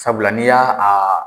Sabula n'i y'a aa